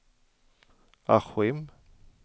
Askim